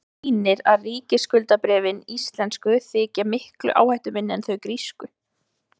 það sýnir að ríkisskuldabréfin íslensku þykja miklu áhættuminni en þau grísku